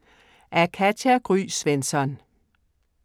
Af Katja Gry Svensson